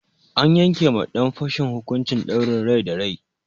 An yanke ma ɗan fashin hukuncin ɗaurin rai da rai.